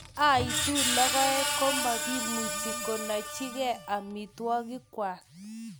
ya oitu lagoik ko mukumuchi konaichigei amitwogikwak.